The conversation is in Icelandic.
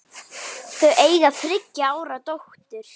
Þau eiga þriggja ára dóttur.